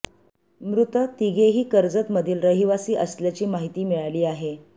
मृत तिघेही कर्जत मधील रहिवासी असल्याची माहिती मिळाली आहे